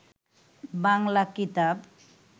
বাংলা কিতাব